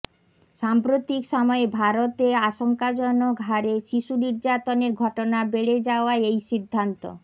সাম্প্রতিক সময়ে ভারতে আশঙ্কাজনকহারে শিশু নির্যাতনের ঘটনা বেড়ে যাওয়ায় এই সিদ্ধান্ত